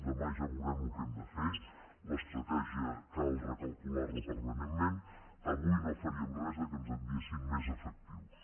demà ja veuré el que hem de fer l’estratègia cal recalcular la permanentment avui no faríem res que ens enviessin més efectius